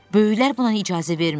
Böyüklər buna icazə vermir.